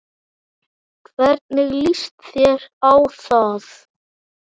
Hvernig líst þér á það